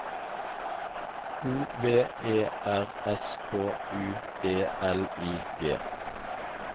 O V E R S K U E L I G